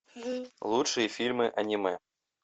лучшие фильмы аниме